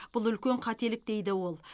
бұл үлкен қателік дейді ол